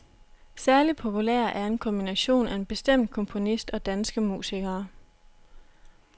Særlig populær er en kombination af en bestemt komponist og danske musikere.